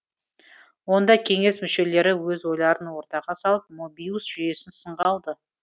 онда кеңес мүшелері өз ойларын ортаға салып мобиус жүйесін сынға алды